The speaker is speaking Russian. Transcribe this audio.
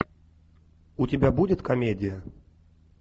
у тебя будет комедия